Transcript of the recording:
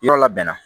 Yɔrɔ labɛn na